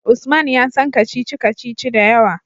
Usman ya san kacici-kacici da yawa